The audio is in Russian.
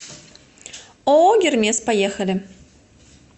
ооо гермес поехали